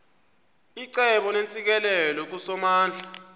icebo neentsikelelo kusomandla